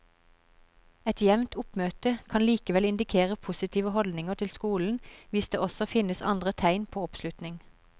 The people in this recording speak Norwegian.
Et jevnt oppmøte kan likevel indikere positive holdninger til skolen hvis det også finnes andre tegn på oppslutning.